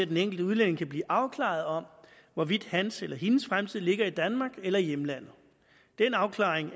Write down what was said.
den enkelte udlænding kan blive afklaret om hvorvidt hans eller hendes fremtid ligger i danmark eller i hjemlandet den afklaring